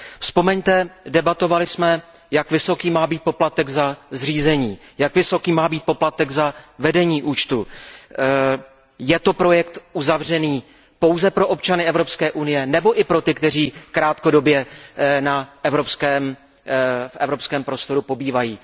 Vzpomeňte, debatovali jsme, jak vysoký má být poplatek za zřízení účtu, jak vysoký má být poplatek za vedení účtu. Je to projekt uzavřený pouze pro občany Evropské unie, nebo i pro ty, kteří krátkodobě v evropském prostoru pobývají?